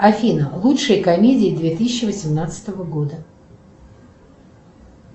афина лучшие комедии две тысячи восемнадцатого года